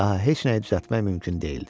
Daha heç nəyi düzəltmək mümkün deyildi.